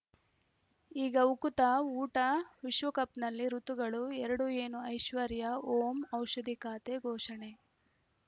ಈಗ ಉಕುತ ಊಟ ವಿಶ್ವಕಪ್‌ನಲ್ಲಿ ಋತುಗಳು ಎರಡು ಏನು ಐಶ್ವರ್ಯಾ ಓಂ ಔಷಧಿ ಖಾತೆ ಘೋಷಣೆ